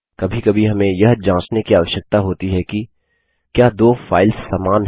कभी कभी हमें यह जाँचने की आवश्यकता होती है कि क्या दो फाइल्स समान हैं